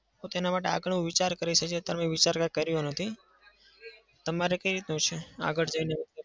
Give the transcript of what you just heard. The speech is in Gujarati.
તો તેનાં માટે આગળ હું વિચાર કરીશ જ. અત્યાર મેં વિચાર કઈ કર્યો નથી. તમારે કઈ રીતનું છે આગળ જઈને?